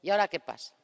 ¿Y ahora qué pasa?